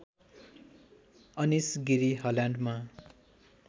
Anish Giri हल्यान्डमा